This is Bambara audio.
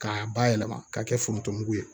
K'a bayɛlɛma k'a kɛ foronto mugu ye